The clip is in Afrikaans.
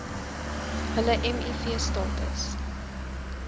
hulle miv status